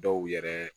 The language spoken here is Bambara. Dɔw yɛrɛ